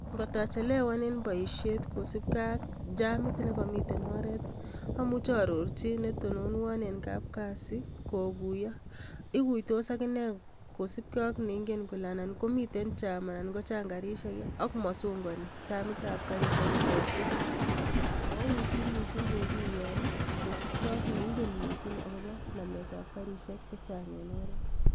Ngotachelewan en boisiet kosipke ak jamit nekomiten oret amuche aarorchi netononwon en kapkazi kokuyo ikuitos akine kosipke ak neinge kole nan komiten jam ana kochang karisiek ak masongoni jamitab karisek kochokyin, mouitu mising kokuiyon kosipke ak neingen missing akopo nametab kariseik chechang en oret.